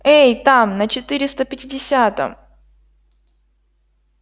эй там на четыреста пятидесятом